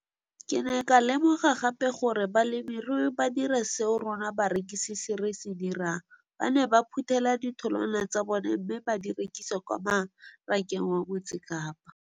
Ke ne ka lemoga gape gore balemirui ba dira seo rona barekisi re se dirang, ba ne ba phuthela ditholwana tsa bona mme ba di rekisa kwa marakeng wa Motsekapa.